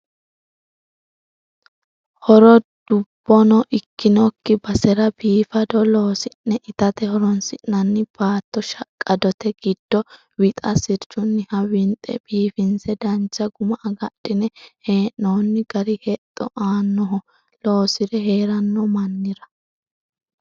Horo dubbono ikkinokki basera biifado loosi'ne itate horonsi'nanni baatto shaqqadote giddo wixa sirchuniha winxe biifinse dancha guma agadhine hee'nonni gari hexxo aanoho loosire heerano mannira.